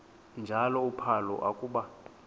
njalo uphalo akuba